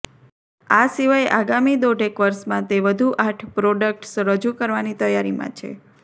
આ સિવાય આગામી દોઢેક વર્ષમાં તે વધુ આઠ પ્રોડક્ટ્સ રજૂ કરવાની તૈયારીમાં છે